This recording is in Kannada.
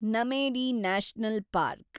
Nameri national park